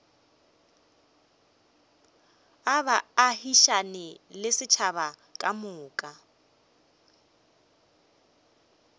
a baagišane le setšhaba kamoka